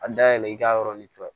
A dayɛlɛ i k'a yɔrɔnin fɛn